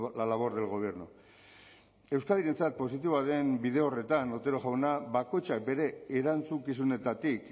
la labor del gobierno euskadirentzat positiboa den bide horretan otero jauna bakoitzak bere erantzukizunetatik